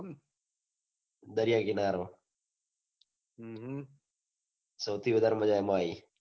દરિયા કિનારે સૌથી વધાર મજા એમાં આયી